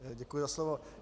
Děkuji za slovo.